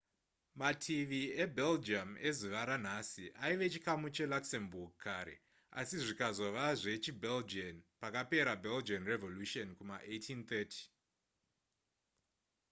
mativi ebelgium ezuva ranhasi aive chikamu cheluxembourg kare asi zvikazove zvechibelgian pakapera belgian revolution yekuma1830